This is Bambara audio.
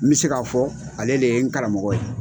N bɛ se k'a fɔ ale le ye n karamɔgɔ ye.